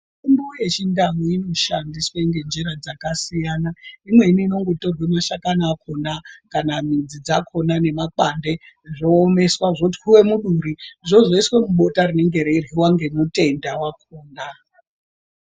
Mitombo yechindau inoshandiswe ngenjira dzakasiyana . Imweni inogotorwa mashakani akona kana midzi dzakona nemakwande zvoomeswa zvotwiwa muduri zvozoiswa mubota rinenge reiryiwa ngemutenda wakona.